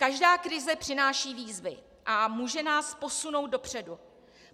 Každá krize přináší výzvy a může nás posunout dopředu.